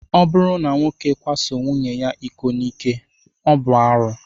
Ọ bụrụ na nwoke kwaso nwunye ya iko n'ike, ọ bụ arụ?